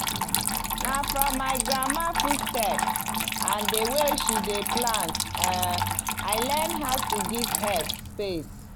na from my grandma footstep and the way she dey plant um i learn how to give herbs space.